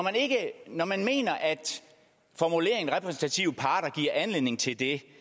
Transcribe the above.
når man mener at formuleringen repræsentative parter giver anledning til det